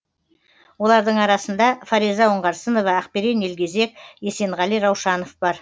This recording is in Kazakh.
олардың арасында фариза оңғарсынова ақберен елгезек есенғали раушанов бар